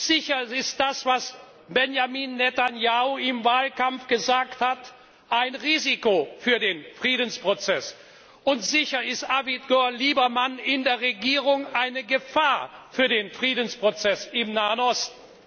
Sicher ist das, was Benjamin Netanjahu im Wahlkampf gesagt hat, ein Risiko für den Friedensprozess, und sicher ist Avigor Liebermann eine Gefahr für den Friedensprozess im Nahen Osten.